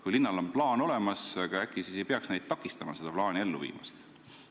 Kui linnal on plaan olemas, äkki siis ei peaks neid takistama seda plaani ellu viimast.